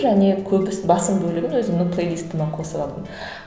және көбісі басым бөлігін өзімнің плейлистіме қосып алдым